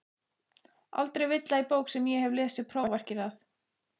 Aldrei villa í bók sem ég hef lesið prófarkir að.